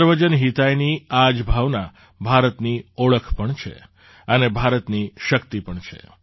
સર્વજન હિતાયની આ જ ભાવના ભારતની ઓળખ પણ છે અને ભારતની શક્તિ પણ છે